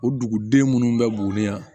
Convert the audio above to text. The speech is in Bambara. O duguden minnu bɛ boli yan